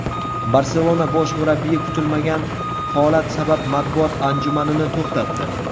"Barselona" bosh murabbiyi kutilmagan holat sabab matbuot anjumanini to‘xtatdi.